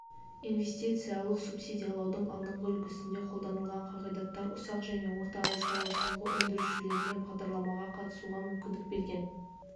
инвестициялық субсидиялаудың алдыңғы үлгісінде қолданылған қағидаттар ұсақ және орта ауыл шаруашылығы өндірушілеріне бағдарламаға қатысуға мүмкіндік берген